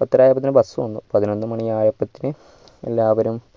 പത്തര ആയപ്പോഴേക്കും bus വന്നു